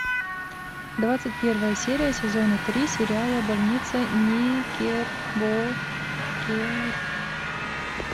двадцать первая серия сезона три сериала больница никербокер